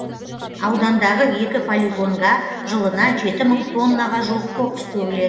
аудандағы екі полигонга жылына жеті мың тоннаға жуық қоқыс төгілед